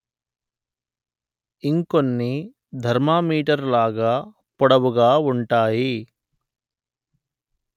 ఇంకొన్ని ధర్మా మీటరు లాగ పొడవుగా వుంటాయి